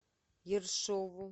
ершову